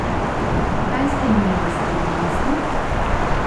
Kaj ste imeli s tem v mislih?